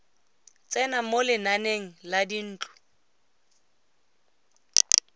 tsena mo lenaneng la dintlo